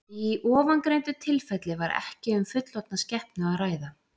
Í ofangreindu tilfelli var ekki um fullorðna skepnu að ræða.